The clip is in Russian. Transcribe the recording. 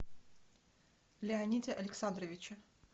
леониде александровиче